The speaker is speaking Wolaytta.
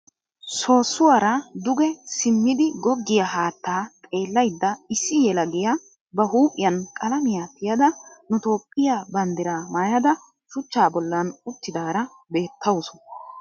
Soossuwaara duge simmidi goggiya haattaa xeellayidda issi yelagiya ba huuphiyan qalamiyan tiyada nu toophphiya banddiraa mayada shuchchaa bollan uttidaara beettawusu.